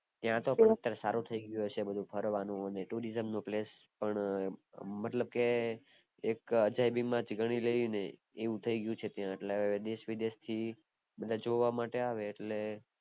ત્યાં તો સારું થય ગયું હયસે બધું ફરવાનું tourism place પણ મતલબ કે એક અજાયબી માં ગણી લિયે ને આવું થય ગયું છે ત્યાં એટલે દેશ વિદેશ થી જોવા આવે એટલે